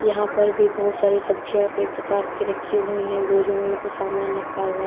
यहां पर भी बहुत सारी सब्जियां कई प्रकार की रखी हुई हैं बोरियों में भी कुछ सामान रखा हुआ।